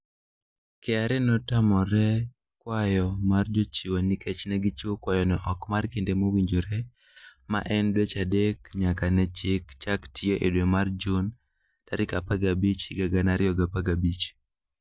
KRA ne otamore kwayo mar jochiwo nikech ne gichiwo kwayono oko mar kinde mowinjore, ma en dweche adek nyaka ne chik chak tiyo e dwe mar Jun 15, 2015.